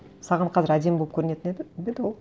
саған қазір әдемі болып көрінетін бе еді ол